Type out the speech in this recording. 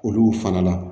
Olu fana na